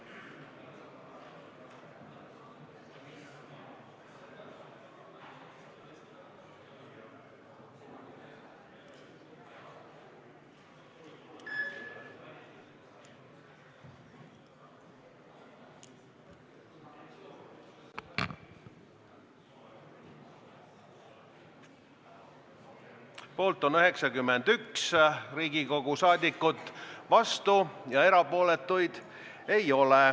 Hääletustulemused Poolt on 91 Riigikogu liiget, vastuolijaid ega erapooletuid ei ole.